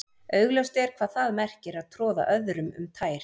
augljóst er hvað það merkir að troða öðrum um tær